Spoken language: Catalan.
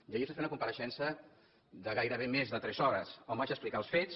i ahir es va fer una compareixença de gairebé més de tres hores on vaig explicar els fets